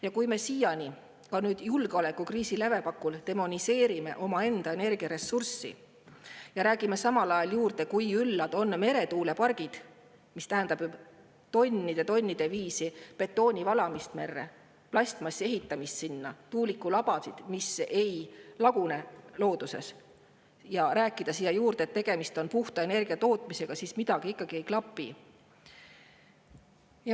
Ja kui me siiani, ka nüüd julgeolekukriisi lävepakul, demoniseerime omaenda energiaressurssi ja räägime samal ajal, kui üllad on meretuulepargid – kuigi see tähendab tonnide-tonnide viisi betooni valamist merre, plastmassi sinna, tuulikulabasid, mis ei lagune looduses – ja et tegemist on puhta energia tootmisega, siis midagi ikkagi ei klapi.